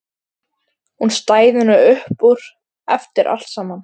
Hún stæði nú upp úr eftir allt saman.